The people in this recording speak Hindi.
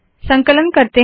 संकलन करते है